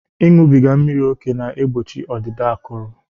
Ịṅụbiga mmiri ókè na-egbochi ọdịda akụrụ